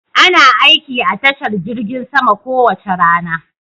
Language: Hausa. Ana aiki a tashar jirgin sama kowace rana.